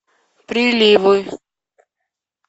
приливы